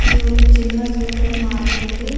ఇది ఒక చిన్న సూపర్ మార్కెటు